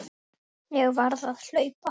Ég varð að hlaupa.